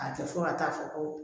A tɛ fɔ ka taa fɔ ko